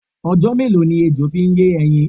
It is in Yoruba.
Ọjọ́ mélòó ni ejo fi ń yé ẹyin?